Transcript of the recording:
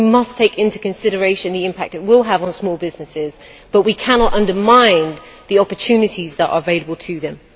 We must take into consideration the impact it will have on small businesses, but we cannot undermine the opportunities that are available to them.